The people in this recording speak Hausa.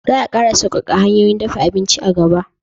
Za a ƙara sauƙaƙa hanyoyin dafa abinci a gaba